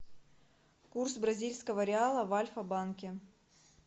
курс бразильского реала в альфа банке